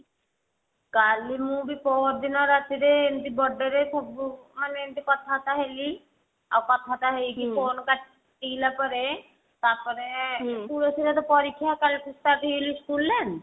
କାଲି ମୁଁ ବି ପହରଦିନ ରାତି ରେ ଏମତି birthday ରେ ସବୁ ମାନେ ଏମତି କଥା ବାର୍ତା ହେଲି ଆଉ କଥା ତ ହେଇକି phone କାଟିଲା ପରେ ତାପରେ ପରୀକ୍ଷା school ନା